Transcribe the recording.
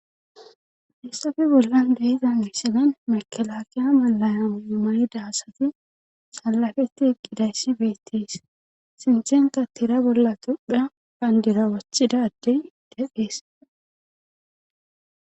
hayssafe bolla de'iza misilen makalaakiya malayamayidaasati salafetti eqqidayssi beettees sinthenka tira bolla tophiya bandira wothida addey eqees